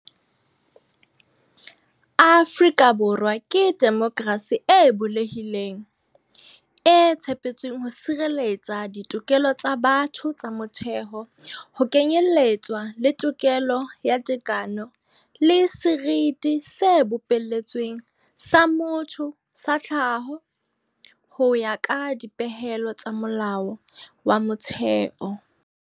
"Afrika Borwa ke demokrasi e bulehileng, e tshepetsweng ho sireletsa ditokelo tsa batho tsa motheo, ho kenyeletswa le tokelo ya tekano le seriti se bopeletsweng sa motho sa tlhaho, ho ya ka dipehelo tsa Molao wa Motheo."